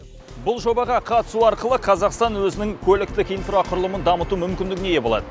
бұл жобаға қатысу арқылы қазақстан өзінің көліктік инфрақұрылымын дамыту мүмкіндігіне ие болады